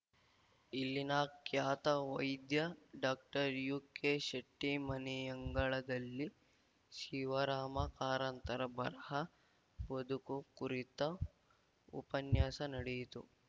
ಇಲ್ಲಿನ ಖ್ಯಾತ ವೈದ್ಯ ಡಾಕ್ಟರ್ಯುಕೆಶೆಟ್ಟಿಮನೆಯಂಗಳದಲ್ಲಿ ಶಿವರಾಮ ಕಾರಂತರ ಬರಹ ಬದುಕು ಕುರಿತು ಉಪನ್ಯಾಸ ನಡೆಯಿತು